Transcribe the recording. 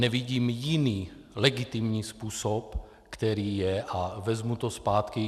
Nevidím jiný legitimní způsob, který je - a vezmu to zpátky.